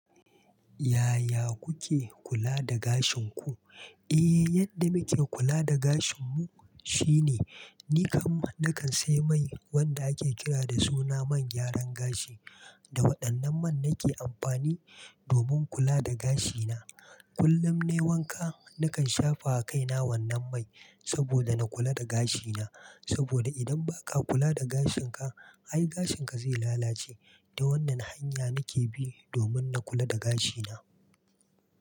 Yaya kuke kula da gashin ku? Eh, yadda muke kula da gashinmu shine, ni kam nakan sai mai wanda ake kira da suna man gyaran gashi. Da waɗannan man nake amfani domin kula da gashina. Kullum nayi wanka, nakan shafa wa kaina wannan mai saboda na kula da gashina. Saboda idan ba ka kula da gashinka, ai gashinka zai lalace. Da wannan hanya nake bi domin na kula da gashina.